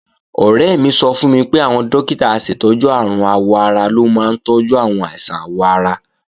Ọ̀rẹ́ mi sọ fún mi pé àwọn dókítà aṣètọ́jú àrùn àwọ̀-ara ló máa ń tọ́jú àwọn àìsàn àwọ̀ ara